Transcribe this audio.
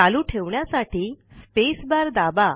चालू ठेवण्यासाठी space bar दाबा